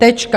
Tečka.